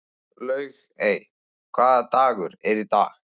Laugey, hvaða dagur er í dag?